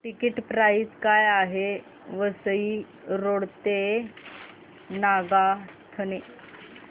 ticket price काय आहे Vasai road ते नागोठणे